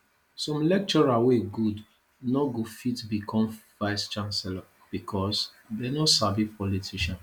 some lecturer wey good no go fit become vice chancellor because they no sabi politician